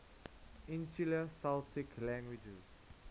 insular celtic languages